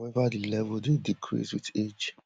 however di level dey decrease wit age